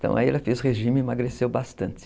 Então, aí ela fez regime, emagreceu bastante.